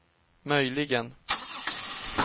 möjligen